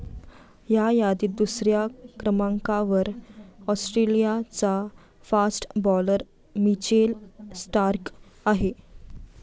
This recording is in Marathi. या यादीत दुसऱ्या क्रमांकावर ऑस्ट्रेलियाचा फास्ट बॉलर मिचेल स्टार्क आहे.